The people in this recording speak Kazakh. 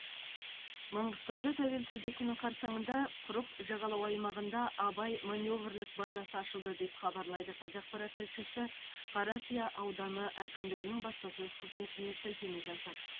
маңғыстауда тәуелсіздік күні қарсаңында құрық жағалау аймағында абай маневрлік базасы ашылды деп хабарлайды қазақпарат тілшісі қаракия ауданы әкімдігінің баспасөз қызметіне сілтеме жасап